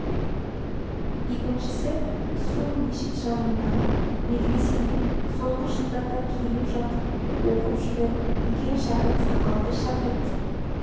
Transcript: екіншісі сол мешіт жанындағы медресеге соңғы жылдарда келіп жатып оқып жүрген үлкен шәкірт сақалды шәкірт